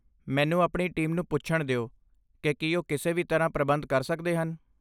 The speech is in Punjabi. ਮੈਨੂੰ ਆਪਣੀ ਟੀਮ ਨੂੰ ਪੁੱਛਣ ਦਿਓ ਕਿ ਕੀ ਉਹ ਕਿਸੇ ਵੀ ਤਰ੍ਹਾਂ ਪ੍ਰਬੰਧ ਕਰ ਸਕਦੇ ਹਨ।